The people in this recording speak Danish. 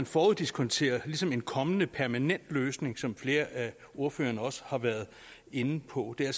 foruddiskonterer en kommende permanent løsning som flere ordførere også har været inde på det er